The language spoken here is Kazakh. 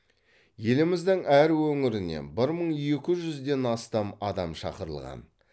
еліміздің әр өңірінен бір мың екі жүзден астам адам шақырылған